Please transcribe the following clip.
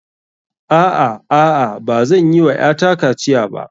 A'a, a'a. Bazan yi wa ƴata kaciya ba.